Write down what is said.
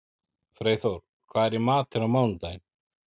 Freyþór, hvað er í matinn á mánudaginn?